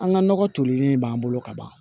An ka nɔgɔ tolilen b'an bolo ka ban